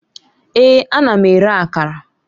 Èè! Ana m ere Akara